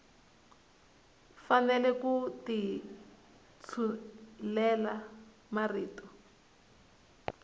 fanele ku ti tshulela marito